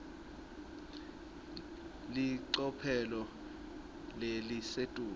licophelo lelisetulu